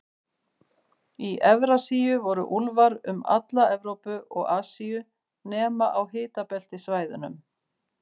Í Evrasíu voru úlfar um alla Evrópu og Asíu, nema á hitabeltissvæðunum.